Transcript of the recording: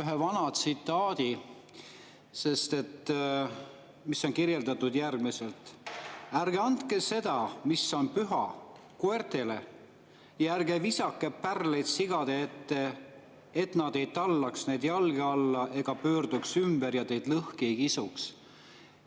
ühe vana tsitaadi, mis on kirjeldatud järgmiselt: "Ärge andke seda, mis on püha, koertele, ja ärge heitke oma pärleid sigade ette, et nad neid ei tallaks oma jalgadega ega pöörduks tagasi ja teid lõhki ei kisuks!